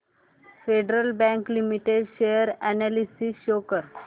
federal Bank Limited share analysis show कर